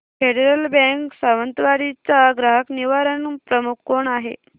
federal Bank Sawantwadi चा ग्राहक निवारण प्रमुख कोण आहे